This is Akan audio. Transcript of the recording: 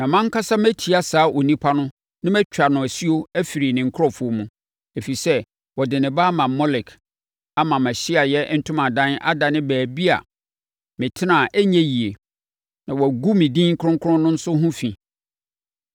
Na mʼankasa mɛtia saa onipa no na matwa no asuo afiri ne nkurɔfoɔ mu, ɛfiri sɛ, ɔde ne ba ama Molek ama mʼAhyiaeɛ Ntomadan adane baabi a metena a ɛnyɛ yie, na wagu me din kronkron no nso ho fi.